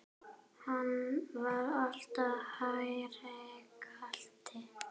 Hann var alltaf hægri krati!